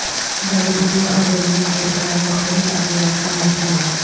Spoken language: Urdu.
جڑی بوٹیاں اور ضروری تیل کے ساتھ مختلف ادویات کا مجموعہ